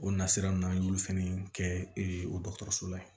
O nasira ninnu an y'olu fɛnɛ kɛɛ o dɔgɔtɔrɔso la yen